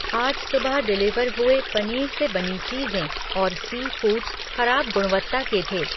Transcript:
आज सुबह डिलीवर हुए पनीर से बनी चीज़ें और सी फ़ूड्स खराब गुणवत्ता के थे।